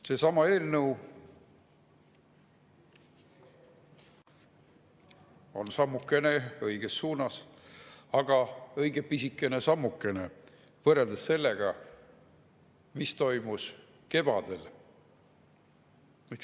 Seesama eelnõu on sammukene õiges suunas, aga õige pisikene sammukene võrreldes sellega, mis toimus kevadel.